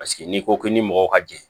Paseke n'i ko ko ni mɔgɔw ka jɛn